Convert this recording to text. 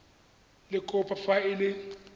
le kopo fa e le